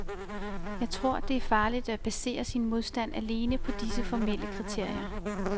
Jeg tror, det er farligt at basere sin modstand alene på disse formelle kriterier.